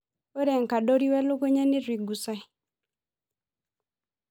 Ore enkadori wolelukunya netu eigusae.